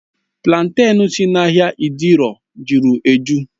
Platen si n'ahịa idioro jụrụ ejụ́